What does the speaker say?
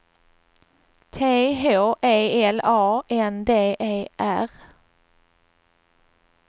T H E L A N D E R